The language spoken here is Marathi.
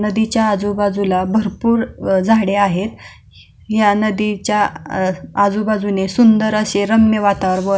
नदीच्या आजूबाजूला भरपूर अशी झाड आहेत या नदीच्या बाजूने रम्य असे सुंदर वातावरण--